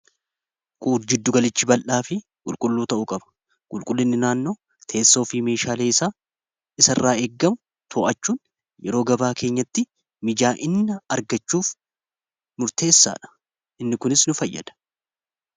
quur jiddu galichi bal'aa fi qulqulluu ta'u qaba qulqullinni naannoo teessoo fi meeshaalee isaa isa irraa eeggamu too'achuun yeroo gabaa keenyatti mijaa'inna argachuuf murteessaa dha inni kunis nu fayyada